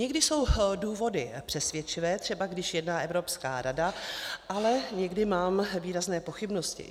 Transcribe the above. Někdy jsou důvody přesvědčivé, třeba když jedná Evropská rada, ale někdy mám výrazné pochybnosti.